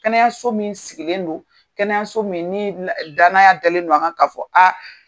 Kɛnɛyaso min sigilen don, kɛnɛya min ye n'i ye dna danaya dalen don an ŋa ka fɔ aa